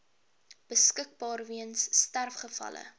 beskikbaar weens sterfgevalle